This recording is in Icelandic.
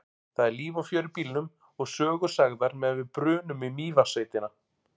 Það er líf og fjör í bílnum og sögur sagðar meðan við brunum í Mývatnssveitina.